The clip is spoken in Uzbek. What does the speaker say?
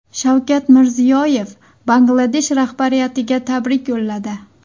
Shavkat Mirziyoyev Bangladesh rahbariyatiga tabrik yo‘lladi.